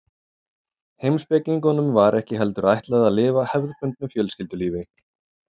Heimspekingunum var ekki heldur ætlað að lifa hefðbundnu fjölskyldulífi.